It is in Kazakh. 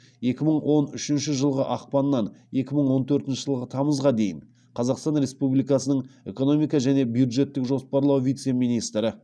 екі мың он үшінші жылғы ақпаннан екі мың он төртінші жылғы тамызға дейін қазақстан республикасының экономика және бюджеттік жоспарлау вице министрі